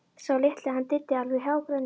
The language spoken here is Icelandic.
Sá litli, hann Diddi, alveg hágrenjandi.